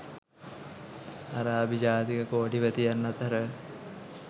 අරාබි ජාතික කෝටිපතියන් අතර